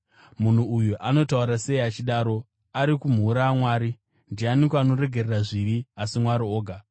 “Munhu uyu anotaura sei achidaro? Ari kumhura Mwari! Ndianiko anoregerera zvivi asi Mwari oga?”